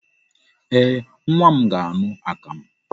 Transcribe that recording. Ee, nwa m ga-aṅụ akamụ.